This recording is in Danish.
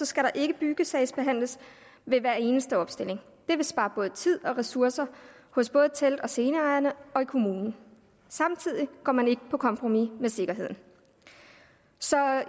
skal der ikke byggesagsbehandles ved hver eneste opstilling det vil spare både tid og ressourcer hos både telt og sceneejerne og i kommunen samtidig går man ikke på kompromis med sikkerheden så